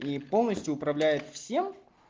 и полностью управляет всем